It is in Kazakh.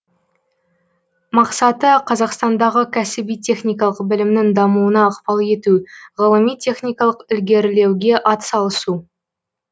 мақсаты қазақстандағы кәсіби техникалық білімнің дамуына ықпал ету ғылыми техникалық ілгерілеуге ат салысу